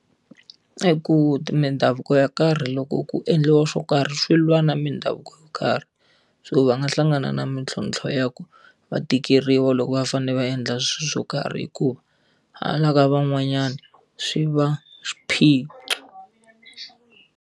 I ku mindhavuko yo karhi loko ku endliwa swo karhi swi lwa na mindhavuko yo karhi. So va nga hlangana na mintlhontlho ya ku, va tikeriwa loko va fanele va endla swilo swo karhi hikuva hala ka van'wanyana, swi va swiphiqo.